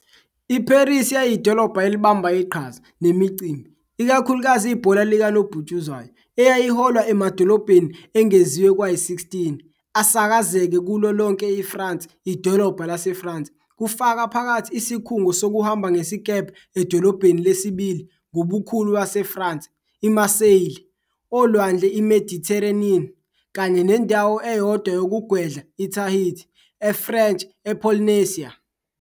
IParis yayiyidolobha elibamba iqhaza, nemicimbi, ikakhulukazi ibhola likanobhutshuzwayo, eyayiholwa emadolobheni engeziwe kwayi-16 asakazeke kulo lonke IFrance idolobha laseFrance, kufaka phakathi isikhungo sokuhamba ngesikebhe edolobheni lesibili ngobukhulu laseFrance, I-Marseille, oLwandle iMediterranean, kanye nendawo eyodwa yokugwedla ITahiti, eFrench Polynesia.